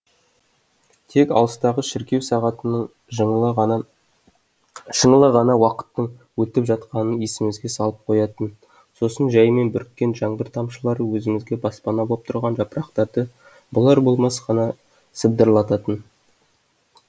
тек алыстағы шіркеу сағатының шыңылы ғана уақыттың өтіп жатқанын есімізге салып қоятын сосын жаймен бүріккен жаңбыр тамшылары өзімізге баспана боп тұрған жапырақтарды болар болмас қана сыбдырлататын